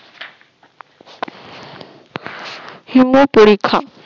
হিম পরীক্ষা